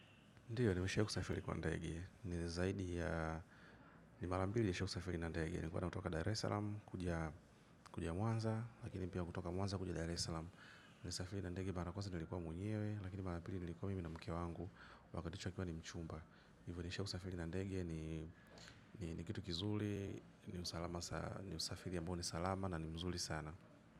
Kwa ndege ni zaidi ya ni mara mbili nisha safiri na ndege nilikuwa na kutoka Dar esalama kuja mwanza lakini pia kutoka mwanza kuja Dar esalama nimesafiri na ndege mara ya kwanza nilikuwa mwenyewe lakini mara pili nilikuwa mimi na mke wangu wakati akiwa ni mchumba hivyo nishasafiri na ndege ni ni kitu kizuri ni usafiri ambao ni salama na ni mzuri sana.